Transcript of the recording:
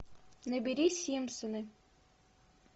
набери симпсоны